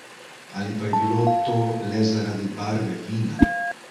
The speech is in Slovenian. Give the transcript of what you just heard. Ali pa je bilo to le zaradi barve vina?